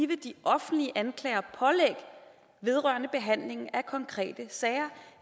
give de offentlige anklagere pålæg vedrørende behandlingen af konkrete sager